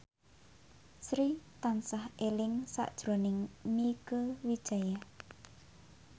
Sri tansah eling sakjroning Mieke Wijaya